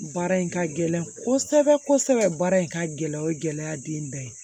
Baara in ka gɛlɛn kosɛbɛ kosɛbɛ baara in ka gɛlɛ o ye gɛlɛya den dɔ ye